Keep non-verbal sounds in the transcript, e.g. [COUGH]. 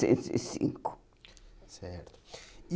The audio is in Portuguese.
[UNINTELLIGIBLE] Certo. E